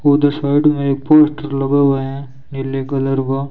उधर साइड में एक पोस्टर लगा हुआ है नीले कलर का।